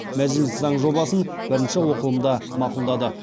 мәжіліс заң жобасын бірінші оқылымда мақұлдады